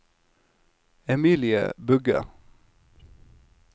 Emilie Bugge